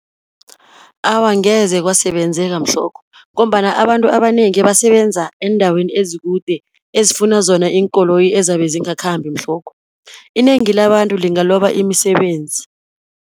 Awa angeze kwasebenzeka mhlokho, ngombana abantu abanengi ebasebenza eendaweni ezikude ezifuna zona iinkoloyi ezabezingakhambi mhlokho. Inengi labantu lingaloba imisebenzi.